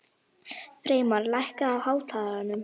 Freymar, lækkaðu í hátalaranum.